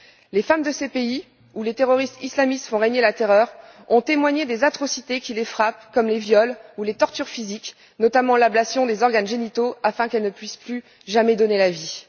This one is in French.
Les femmes de ces pays où les terroristes islamistes font régner la terreur ont témoigné des atrocités qui les frappent, comme les viols ou les tortures physiques, notamment l'ablation des organes génitaux, afin qu'elles ne puissent plus jamais donner la vie.